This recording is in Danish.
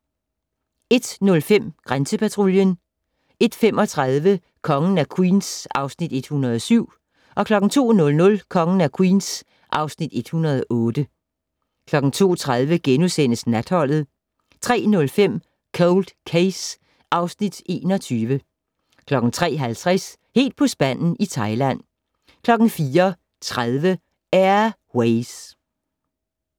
01:05: Grænsepatruljen 01:35: Kongen af Queens (Afs. 107) 02:00: Kongen af Queens (Afs. 108) 02:30: Natholdet * 03:05: Cold Case (Afs. 21) 03:50: Helt på spanden i Thailand 04:30: Air Ways